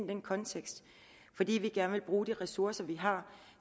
den kontekst fordi vi gerne vil bruge de ressourcer vi har